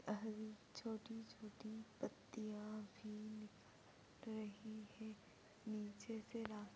और छोटी छोटी पत्तियां भी रही है नीचे से रास्ता --